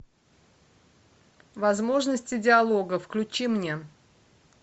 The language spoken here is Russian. возможности диалога включи мне